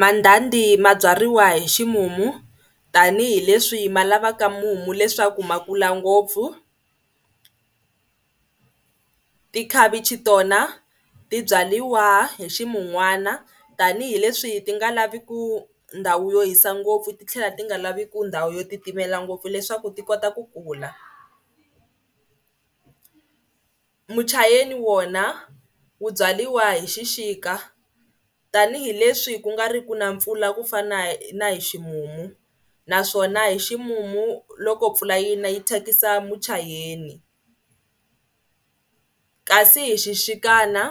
Mandhandhi ma byariwa hi ximumu tanihileswi ma lavaka mumu leswaku ma kula ngopfu. Tikhavichi tona ti byariwa hi ximunwana tanihileswi ti nga laviku ndhawu yo hisa ngopfu ti tlhela ti nga laviku ndhawu yo titimela ngopfu leswaku ti kota ku kula. Muchayeni wona wu byaliwa hi xixika tanihileswi ku nga ri ku na mpfula ku fana na hi ximumu naswona hi ximumu loko mpfula yi na yi thyakisa muchayeni kasi hi xixikana